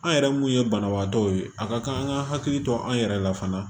An yɛrɛ mun ye banabaatɔw ye a ka kan an ka hakili to an yɛrɛ la fana